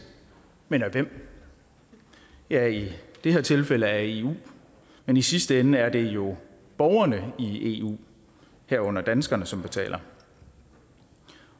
men af hvem ja i det her tilfælde af eu men i sidste ende er det jo borgerne i eu herunder danskerne som betaler